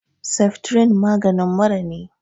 Seftrin maganin mura ne